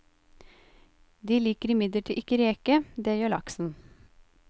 De liker imidlertid ikke reke, det gjør laksen.